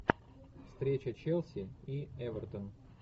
встреча челси и эвертон